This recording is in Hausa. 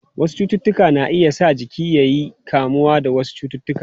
Wasu cututtuka na iya sa jiki ya iya kamuwa da wasu cututtuka.